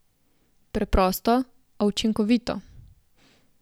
Preprosto, a učinkovito.